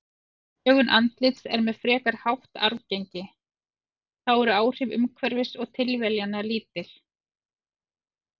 Lögun andlits er með frekar hátt arfgengi, þá eru áhrif umhverfis og tilviljana lítil.